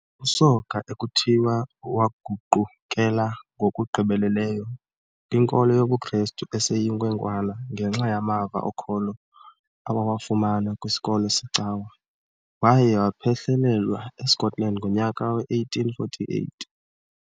USoga ekuthiwa waguqukela ngokugqibeleleyo kwinkolo yobuKrestu eseyinkwenkwana ngenxa yamava okholo awawafumana kwisikolo secawa, waye waphehlelelwa eScotland ngonyaka we-1848.